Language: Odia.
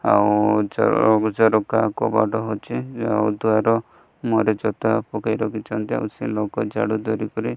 ଆଉ ଝରକା କବାଟ ଅଛି ଆଉ ଦୁଆର ମୁହଁରେ ଜୋତା ପକେଇ ରଖିଛନ୍ତି ଆଉ ସେ ଲୋକ ଝାଡୁ ଧରିକରି --